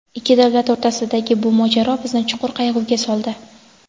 Ikki davlat o‘rtasidagi bu mojaro bizni chuqur qayg‘uga soldi.